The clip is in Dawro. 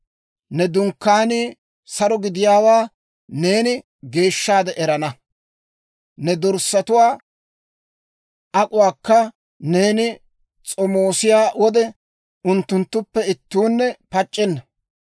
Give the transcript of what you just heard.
Ne dunkkaanii saro gidiyaawaa neeni geeshshaade erana; ne dorssatuwaa ak'uwaakka neeni s'omoosiyaa wode, unttunttuppe ittuunne pac'c'enna.